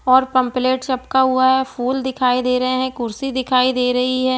और पम्पलेट चपका हुआ है फूल दिखाई दे रहै हैं कुर्सी दिखाई दे रही है ।